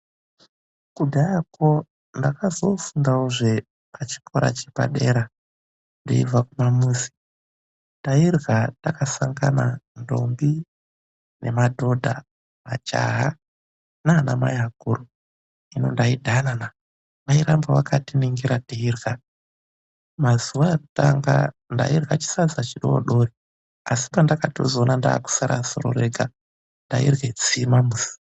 Kudharako ndakazo-o fundawo pachikora chepadera ndeibva kumamuzi. Tairya takasangana ndombi, madhodha, majaha na anamai akuru. Hino ndaidhana naa, vairamba vakandiringira ndeirya. Mazuva ekutanga ndairya chisadza chidodori asi pendakatozoona ndakusara soro rega ndairye tsima yesadza.